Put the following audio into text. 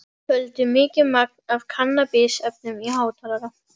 FÖLDU MIKIÐ MAGN AF KANNABISEFNUM Í HÁTALARA.